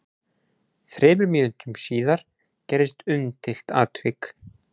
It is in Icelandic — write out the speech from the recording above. Þremur mínútum síðar gerðist umdeilt atvik.